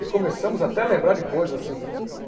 E começamos até a lembrar de coisas assim.